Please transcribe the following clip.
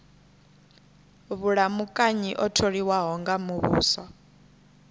vhulamukanyi o tholiwaho nga muvhuso